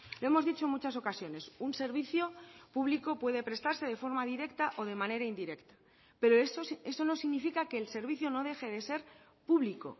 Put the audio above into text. lo hemos dicho en muchas ocasiones un servicio público puede prestarse de forma directa o de manera indirecta pero eso no significa que el servicio no deje de ser público